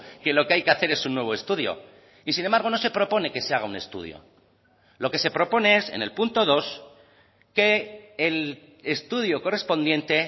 que lo que hay que hacer es un nuevo estudio y sin embargo no se propone que se haga un estudio lo que se propone es en el punto dos que el estudio correspondiente